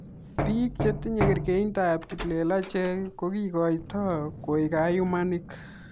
Piik chelitinye kerkeindop kiplelachek ko kikikoitoo koek kayumanik